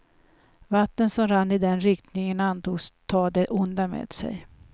Vatten som rann i den riktningen antogs ta det onda med sig.